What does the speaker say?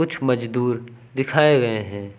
कुछ मजदूर दिखाए गए हैं।